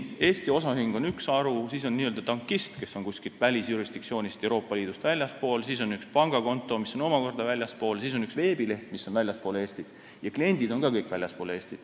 Eesti osaühing on üks haru, siis on n-ö tankist, kes on kuskilt välisjurisdiktsioonist, Euroopa Liidust väljaspool, siis on üks pangakonto, mis on omakorda väljaspool, siis on üks veebileht, mis on väljaspool Eestit, ja kliendid on ka kõik väljaspool Eestit.